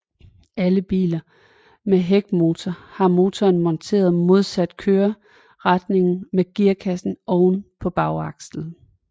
Alle biler med hækmotor har motoren monteret modsat køreretningen med gearkassen oven over bagakslen